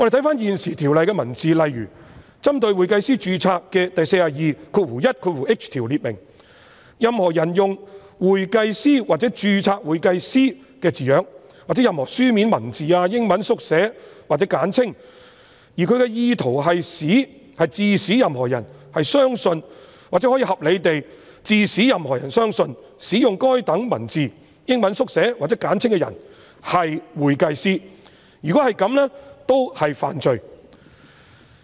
翻閱現行《條例》的條文，例如針對會計師註冊的第 421h 條訂明：任何人用"'會計師'或'註冊會計師'的字樣，或任何書面文字、英文縮寫或簡稱，而其意圖是致使任何人相信或可合理地致使任何人相信使用該等文字、英文縮寫或簡稱的人為會計師"，如果這樣，均屬犯罪。